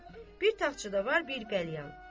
Bir taxtçada var bir qəlyan.